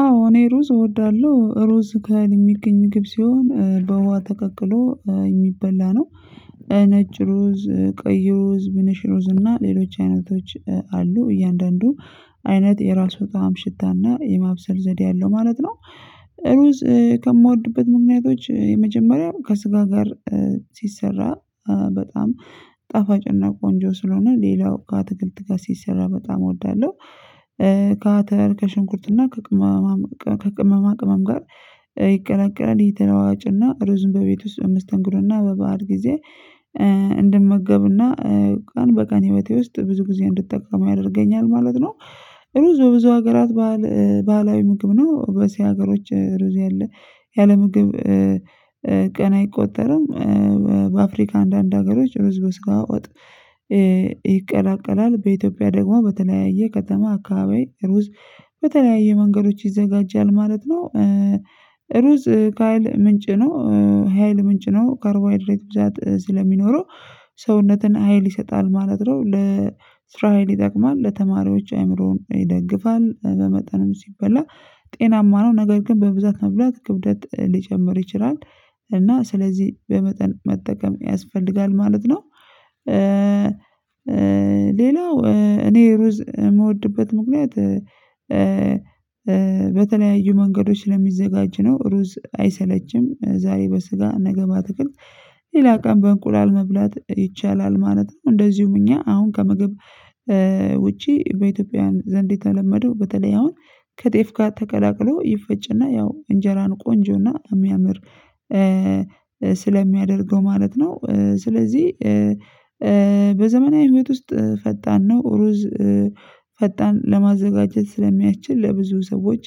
አዎ እኔ ሩዝ እወዳለው ሩዝ ከህል የሚገኝ ምግብ ሲሆን በውሃ ተቀቅሎ የሚበላ ነው ነጭ ሩዝ ቀይ ሩዝ ብንሽ ሩዝ እና ሌሎች አይነቶች አሉ እያንዳንዱ አይነት የራሱ ጣዕም ሽታና የማብሰል ዘዴ አለው ማለት ነው። ሩዝ ከምወድበት ምክንያቶች የመጀመሪያው ከስጋ ጋር ሲሰራ በጣም ጣፋጭና ቆንጆ ስለሆነ ሌላው ከአትክልት ጋር ሲሰራ በጣም እወዳለው። ከአተር ከሽንኩርትና ከቅመማ ቅመም ጋር ይቀላቀላል የተለዋዋጭና ሩዙን በቤት ውስጥ በመስተንግዶና በበዓል ጊዜ እንድመገብና ቀን በቀን ህይወቴ ውስጥ ብዙ ግዜ እንድጠቀመው ያደርገኛል ማለት ነው። ብዙ ብዙ ሀገራት ባህላዊ ምግብ ነው በእሲያ ሀገሮች ሩዝ ያለ ምግብ። ቀን አይቆጠርም። በአፍሪካ አንዳንድ ሀገሮች ሩዝ በስጋ ወጥ። ይቀላቀላል በኢትዮጵያ ደግሞ በተለያየ ከተማ አካባቢ ሩዝ በተለያየ መንገዶች ይዘጋጃል ማለት ነው። ሩዝ ካይል ምንጭ ነው። ሀይል ምንጭ ነው ካርቦሀይድሬት ብዛት ስለሚኖረው ሰውነትን ሀይል ይሰጣል ማለት ነው። ለስራ ሀይል ይጠቅማል ለተማሪዎች አእምሮን ይደግፋል በመጠንም ሲበላ ጤናማ ነው። ነገር ግን በብዛት መብላት ክብደት ሊጨምር ይችላል። እና ስለዚ በመጠን መጠቀም ያስፈልጋል ማለት ነው። ሌላው እኔ ሩዝ ምወድበት ምክንያት በተለያዩ መንገዶች ስለሚዘጋጅ ነው። ሩዝ አይሰለችም ዛሬ በስጋ ነገ በአትክክልት ሌላ ቀን በእንቁላል መብላት ይቻላል ማለት ነው። እንደዚውም እኛ አሁን ከምግብ ውጪ በኢትዮጵያውያን ዘንድ የተለመደው በተለይ አሁን ከጤፍ ጋር ተቀላቅሎ ይፈጭና ያው እንጀራን ቆንጆና እሚያምር ስለሚያደርገው ማለት ነው። ስለዚ በዘመናዊ ህይወት ውስጥ ፈጣን ነው። ሩዝ ፈጣን ለማዘጋጀት ስለሚያችል ለብዙ ሰዎች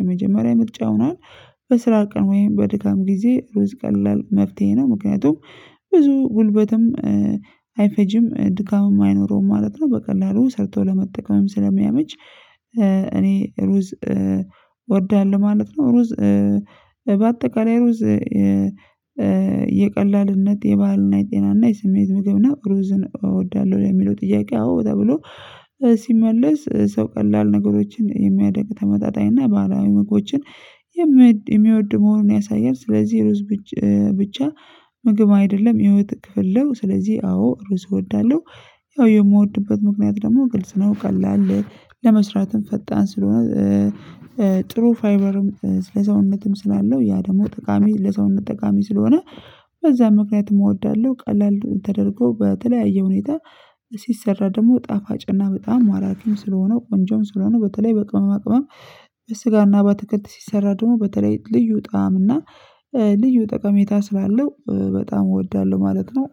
የመጀመሪያ ምርጫ ሆኗል። በስራ ቀን ወይም በድካም ጊዜ ሩዝ ቀላል መፍትሄ ነው። ምክንያቱም ብዙ ጉልበትም አይፈጅም ድካምም አይኖረውም ማለት ነው። በቀላሉ ሰርቶ ለመጠቀምም ስለሚያመች እኔ ሩዝ ወዳለሁ ማለት ነው። ሩዝ በአጠቃላይ ሩዝ የቀላልነት የባህልና የጤናና የስሜት ምግብ ነው ሩዝን እወዳለው ለሚለው ጥያቄ አዎ በጣም ነው። ሲመለስ ሰው ቀላል ነገሮችን የሚያደርግ ተመጣጣኝ እና ባህላዊ ምግቦችን የሚወድ መሆኑን ያሳያል። ስለዚ ሩዝ ብቻ ምግብ አይደለም የህይወት ክፍል ነው። ስለዚ አዎ ሩዝ እወዳለው። ያው የምወድበት ምክንያት ደሞ ግልጽ ነው። ቀላል ለመስራትም ፈጣን ስለሆነ ጥሩ ፋይቨርም ለሰውነትም ስላለው ያ ደሞ ጠቃሚ ለሰውነት ጠቃሚ ስለሆነ በዛ ምክንያትም እወዳለው። ቀላል ተደርጎ በተለያየ ሁኔታ ሲሰራ ደሞ ጣፋጭና በጣም ማራኪም ስለሆነው ቆንጆም ስለሆነው በተለይ በቅመማ ቅመም በስጋና በአትክልት ሲሰራ ደሞ በተለይ ልዩ ጣዕም እና ልዩ ጠቀሜታ ስላለው በጣም እወዳለው ማለት ነው።